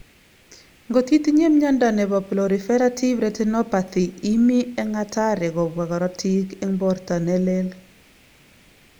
Ngot itinye miondo nebo proliferative retinopathy imii eng hatari kobwa korotik eng borto ne lel